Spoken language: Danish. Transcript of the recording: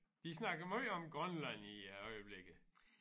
De snakker om måj om Grønland i øjeblikket